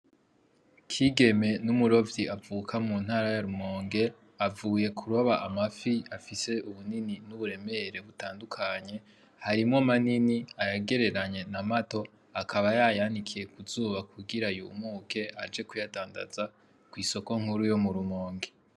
Kigeme n’umurovyi avuka mu ntara ya Rumonge , avuye kuroba amafi afise ibinini n’uburemere butandukanye harimwo manini ,ayagereranye na mato . Akaba yayanikiye ku zuba kugira yumuke aje kuyadanza kw’isoko nkuru yo mu Rumonge .